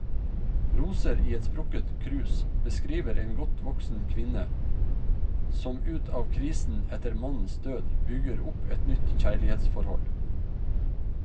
Roser i et sprukket krus beskriver en godt voksen kvinne som ut av krisen etter mannens død, bygger opp et nytt kjærlighetsforhold.